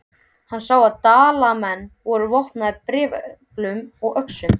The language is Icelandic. Hann sá að Dalamenn voru vopnaðir bareflum og öxum.